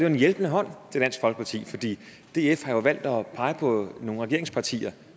en hjælpende hånd til dansk folkeparti fordi df har valgt at pege på nogle regeringspartier